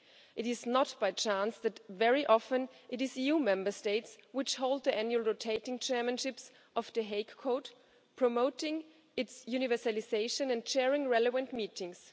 It is not by chance that very often it is EU Member States which hold the annual rotating chairmanships of The Hague Code, promoting its universalisation and chairing relevant meetings.